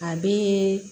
A bee